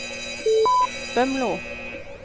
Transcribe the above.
Bømlo